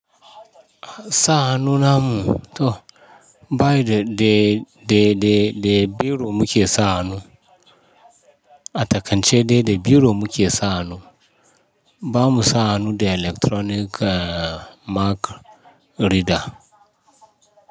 Sa hannun namu to, bayi da, da, da, da, da biro muke sa hannu. A takaikannce da, da biro muke sa hannu. Ba mu sa hannu da electronic, uh, mark reader.